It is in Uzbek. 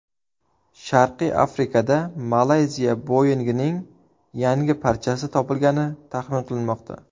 Sharqiy Afrikada Malayziya Boeing‘ining yangi parchasi topilgani taxmin qilinmoqda.